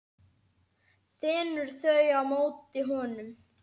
Þenur þau á móti honum.